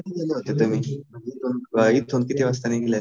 हा हा. कधी गेले होते तुम्ही? इथून किती वाजता निघले?